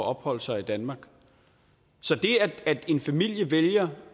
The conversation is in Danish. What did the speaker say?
at opholde sig i danmark så det at en familie vælger